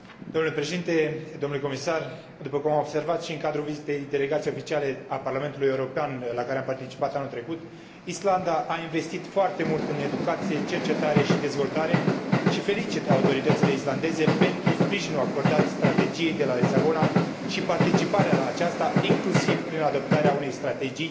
După cum am observat și în cadrul vizitei delegației oficiale a Parlamentului European la care am participat anul trecut, Islanda a investit foarte mult în educație, cercetare și dezvoltare și felicit autoritățile islandeze pentru sprijinul acordat Strategiei de la Lisabona și participarea la aceasta, inclusiv prin adoptarea unei Strategii Islanda 2020,